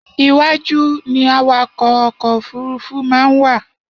Iwájú ni awakọ̀ ọkọ̀ òfúrufú máa ń wà.